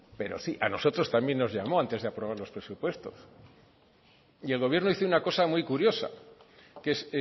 pero sí a nosotros también nos llamó antes de aprobar los presupuestos y el gobierno hizo una cosa muy curiosa que es